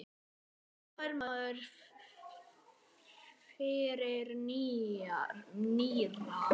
Hvað fær maður fyrir nýra?